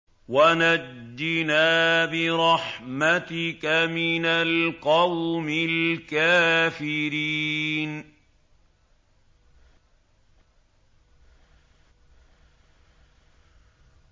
وَنَجِّنَا بِرَحْمَتِكَ مِنَ الْقَوْمِ الْكَافِرِينَ